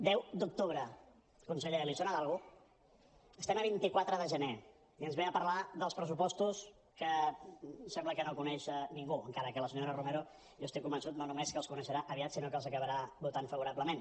deu d’octubre conseller li sona d’alguna cosa estem a vint quatre de gener i ens ve a parlar dels pressupostos que sembla que no coneix ningú encara que la senyora romero jo estic convençut no només que els coneixerà aviat sinó que els acabarà votant favorablement